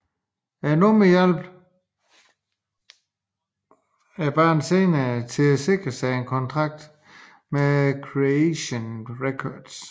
Nummeret hjalp bandet senere med at sikre sig en kontrakt med Creation Records